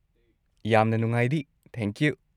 ꯌꯥꯝꯅ ꯅꯨꯡꯉꯥꯏꯔꯤ, ꯊꯦꯡꯀ꯭ꯌꯨ꯫